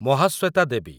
Mahasweta Devi